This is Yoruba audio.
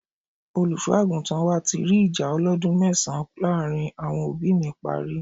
Olùṣọ́ àgùntàn wa ti rí ìjà ọlọ́dún mẹ́sàn-án láàárín àwọn òbí mi parí.